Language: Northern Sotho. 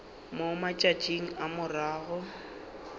mo matšatšing a morago ga